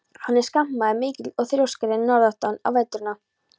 Hann er skapmaður mikill og þrjóskari en norðanáttin á veturna.